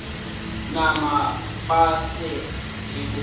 nama ba sa e bone